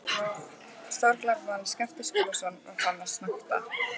Stórglæpamaðurinn Skapti Skúlason var farinn að snökta!